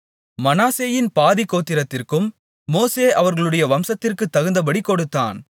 மனாசேயின் பாதிக் கோத்திரத்திற்கும் மோசே அவர்களுடைய வம்சத்திற்குத் தகுந்தபடிக் கொடுத்தான்